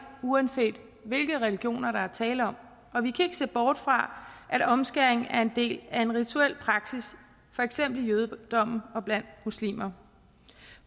uanset hvilke religioner der er tale om og vi kan ikke se bort fra at omskæring er en del af en rituel praksis for eksempel i jødedommen og blandt muslimer